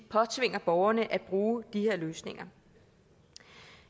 påtvinger borgerne at bruge de her løsninger